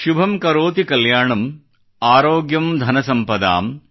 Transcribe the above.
ಶುಭಂ ಕರೋತಿ ಕಲ್ಯಾಣಂ ಆರೋಗ್ಯಂ ಧನಸಂಪದಾಂ